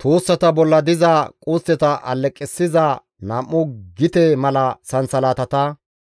tuussata bolla diza qustteta alleqissiza nam7u gite mala sansalatata,